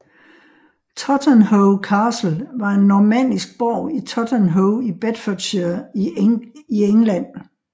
Totternhoe Castle var en normannisk borg i Totternhoe i Bedfordshire i England